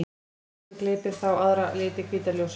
Grasið gleypir þá aðra liti hvíta ljóssins.